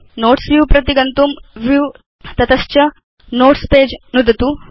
notes view प्रति गन्तुं view तत च नोट्स् पगे नुदतु